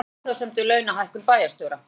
Gerðu athugasemd við launahækkun bæjarstjóra